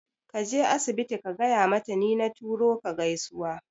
Kaje asibiti ka gaya mata ni na turo ka gaisuwa